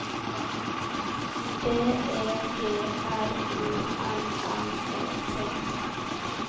B E G R U N N E T